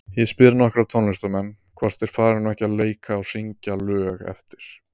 Ég spyr nokkra tónlistarmenn, hvort þeir fari nú ekki að leika og syngja lög eftir